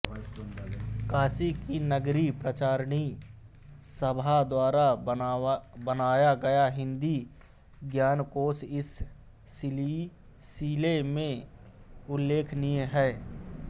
काशी की नागरी प्रचारिणी सभा द्वारा बनवाया गया हिंदी ज्ञानकोश इस सिलिसिले में उल्लेखनीय है